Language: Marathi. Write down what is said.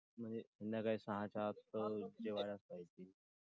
संध्याकाळी सहाच्या आत तर जेवायलाच पाहिजे.